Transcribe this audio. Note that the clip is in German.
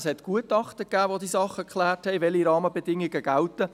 Es gab Gutachten, die geklärt haben, welche Rahmenbedingungen gelten.